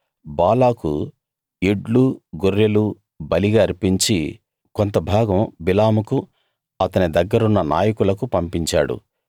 బాలాకు ఎడ్లు గొర్రెలు బలిగా అర్పించి కొంతభాగం బిలాముకు అతని దగ్గరున్న నాయకులకు పంపించాడు